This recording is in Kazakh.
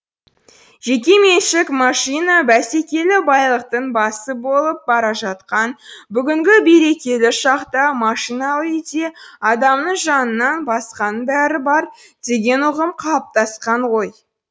жеке меншік машина бәсекелі байлықтың басы болып бара жатқан бүгінгі берекелі шақта машиналы үйде адамның жанынан басқаның бәрі бар деген ұғым қалыптасқан ғой